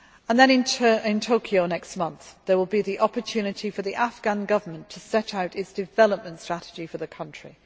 Then, in Tokyo next month, there will be the opportunity for the Afghan Government to set out its development strategy for the country.